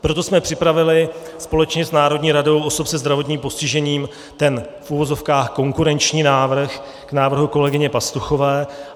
Proto jsme připravili společně s Národní radou osob se zdravotním postižením ten v uvozovkách konkurenční návrh k návrhu kolegyně Pastuchové.